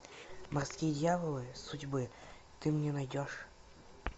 морские дьяволы судьбы ты мне найдешь